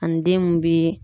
Ani den mun bi